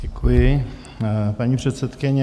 Děkuji, paní předsedkyně.